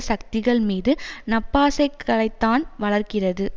சக்திகள் மீது நப்பாசைகளைத்தான் வளர்க்கிறது